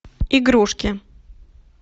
игрушки